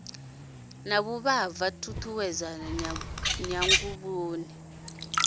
na vhuvhava tshutshedzo tshanḓanguvhoni u